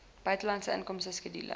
buitelandse inkomste skedule